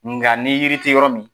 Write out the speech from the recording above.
Nga ni yiri ti yɔrɔ min.